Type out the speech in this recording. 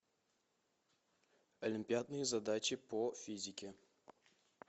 олимпиадные задачи по физике